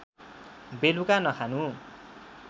बेलुका नखानु